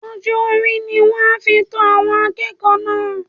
Ọjọ́-orí ni wọ́n á fi to àwọn akẹ́kọ̀ọ́ náà